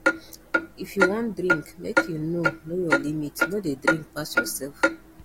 if you wan drink make you know know your limit no dey drink pass yourself